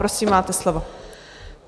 Prosím, máte slovo.